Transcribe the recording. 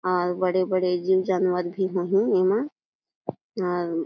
अउ बड़े-बड़े जीव जानवर भी होही एमा और --